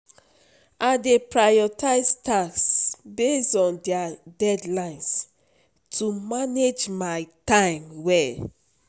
I dey prioritize tasks based on their deadlines to manage my time well.